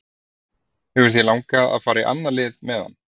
Hefur þér langað að fara í annað lið meðan?